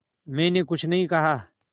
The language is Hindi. मैंने कुछ नहीं कहा